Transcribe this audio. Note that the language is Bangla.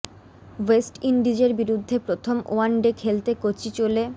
ওয়েস্ট ইন্ডিজের বিরুদ্ধে প্রথম ওয়ান ডে খেলতে কোচি চলে